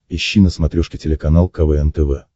ищи на смотрешке телеканал квн тв